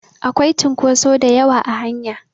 Akwai cunkotso da yawa a hanya